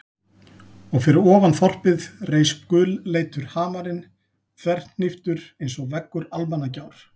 Og fyrir ofan þorpið reis gulleitur hamarinn þverhníptur einsog veggur Almannagjár.